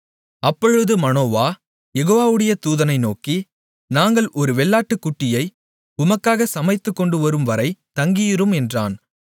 அப்பொழுது மனோவா யெகோவாவுடைய தூதனை நோக்கி நாங்கள் ஒரு வெள்ளாட்டுக்குட்டியை உமக்காக சமைத்துக் கொண்டுவரும்வரை தங்கியிரும் என்றான்